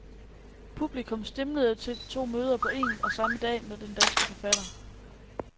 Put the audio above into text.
Publikum stimlede til to møder på én og samme dag med den danske forfatter.